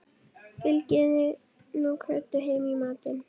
Fylgið þið nú Kötu heim í matinn